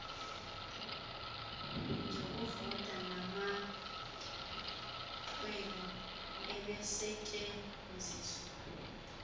zokuvota namaxwebhu ebesetyenziswa